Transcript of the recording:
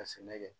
Ka sɛnɛ kɛ